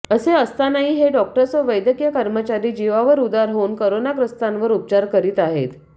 असे असतानाही हे डॉक्टर्स व वैद्यकीय कर्मचारी जीवावर उदार होऊन करोनाग्रस्तांवर उपचार करीत आहेत